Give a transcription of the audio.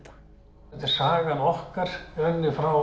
er sagan okkar unnið frá